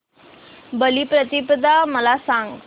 बलिप्रतिपदा मला सांग